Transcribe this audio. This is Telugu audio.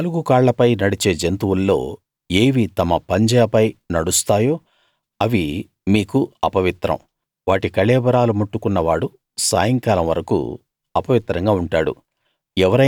నాలుగు కాళ్లపై నడిచే జంతువుల్లో ఏవి తమ పంజాపై నడుస్తాయో అవి మీకు అపవిత్రం వాటి కళేబరాలు ముట్టుకున్న వాడు సాయంకాలం వరకూ అపవిత్రంగా ఉంటాడు